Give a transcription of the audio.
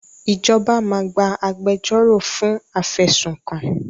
Ìjọba máa gba agbẹjọ́ro fún afẹ̀sùnkàn